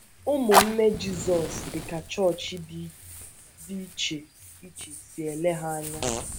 “ Ụmụnne Jizọs dị ka Chọọchị Dị Iche Iche Si Ele Ha Anya, ”